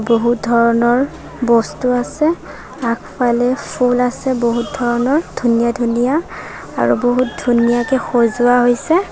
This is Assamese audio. বহুত ধৰণৰ বস্তু আছে আগফালে ফুল আছে বহুত ধৰণৰ ধুনীয়া ধুনীয়া আৰু বহুত ধুনীয়াকে সজোৱা হৈছে।